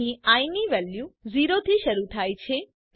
અહીં આઇ ની વેલ્યુ 0 થી શરુ થાય છે